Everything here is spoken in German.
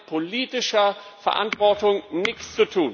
Das hat mit politischer Verantwortung nichts